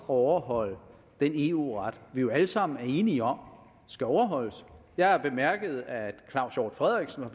overholde den eu ret vi jo alle sammen enige om skal overholdes jeg har bemærket at herre claus hjort frederiksen